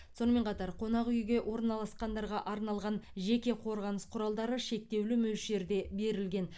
сонымен қатар қонақ үйге орналасқандарға арналған жеке қорғаныс құралдары шектеулі мөлшерде берілген